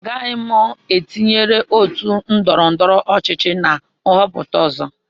Agaghị m etụnyerụ otu ndọrọ ndọrọ ọchịchị na nhọpụta ọzọ